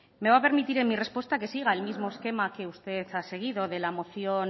me va a permitir en mi respuesta que siga el mismo esquema que usted ha seguido de la moción